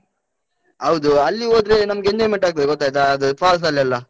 ಹೌದು. ಅಲ್ಲಿ ಹೋದ್ರೆ ನಮ್ಗೆ enjoyment ಆಗ್ತದೆ ಗೊತ್ತ್ ಆಯ್ತಾ? ಅದು falls ಅಲ್ಲೆಲ್ಲ.